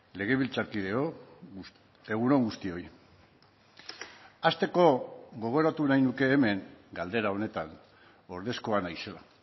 legebiltzarkideok egun on guztioi hasteko gogoratu nahi nuke hemen galdera honetan ordezkoa naizela